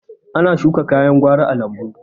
Ana shuka kayan gwari a lambu